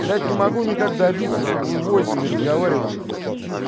блять не могу никак добиться чтобы вы в войсе не разговаривали бляьь